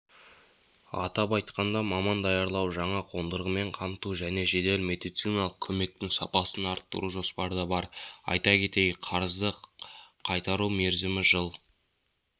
атап айтқанда маман даярлау жаңа қондырғымен қамту және жедел медициналық көмектің сапасын арттыру жоспарда бар айта кетейік қарызды қайтару мерзімі жыл